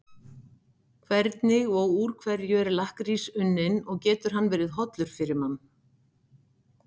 Hvernig og úr hverju er lakkrís unninn og getur hann verið hollur fyrir mann?